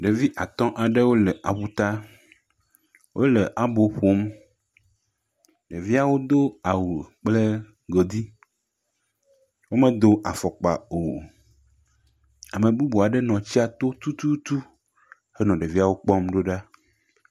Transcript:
Ɖevi at aɖe le awuta. Wole abo ƒom. Ɖeviawo do awu kple godi eye wo me do afɔ kpa o. Ame bubu aɖe nɔ tsia to henɔ ɖevia kpɔm do ɖa.